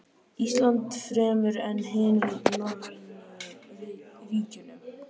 Íslandi fremur en hinum norrænu ríkjunum.